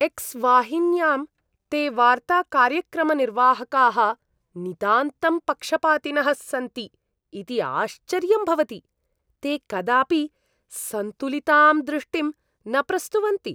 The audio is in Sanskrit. एक्स् वाहिन्यां ते वार्ताकार्यक्रमनिर्वाहकाः नितान्तं पक्षपातिनः सन्ति इति आश्चर्यं भवति, ते कदापि सन्तुलितां दृष्टिं न प्रस्तुवन्ति।